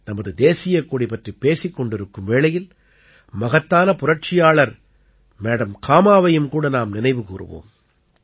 நமது தேசியக் கொடி பற்றிப் பேசிக் கொண்டிருக்கும் வேளையில் மகத்தான புரட்சியாளர் மேடம் காமாவையும் கூட நாம் நினைவுகூருவோம்